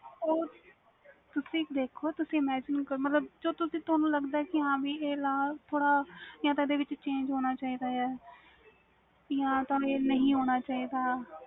ਓ ਤੁਸੀ ਦੇਖੋ ਤੁਸੀ imagine ਕਰੋ ਮਤਬਲ ਜੋ ਤੁਹਾਨੂੰ ਲੱਗਦਾ ਵ ਕਿ ਆਹ law ਥੋੜ੍ਹਾ change ਹੋਣਾ ਚਾਹੀਦਾ ਵ ਜਾ ਤੇ ਨਹੀਂ ਹੋਣਾ ਚਾਹੀਦਾ